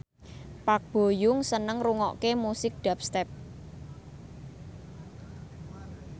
Park Bo Yung seneng ngrungokne musik dubstep